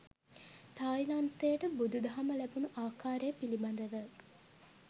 තායිලන්තයට බුදුදහම ලැබුණු ආකාරය පිළිබඳව